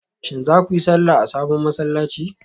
Shin za ku yi sallah a sabon masallaci?